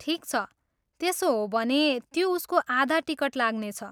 ठिक छ, त्यसो हो भने त्यो उसको आधा टिकट लाग्नेछ।